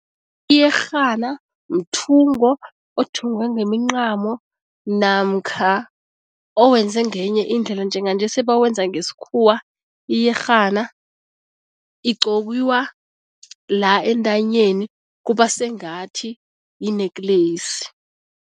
Iyerhana mthungo othungwe ngemincamo namkha owenze ngenye indlela, njenganje sebawenza ngesikhuwa. Iyerhana igqokiwa la entanyeni, kuba sengathi yi-necklace.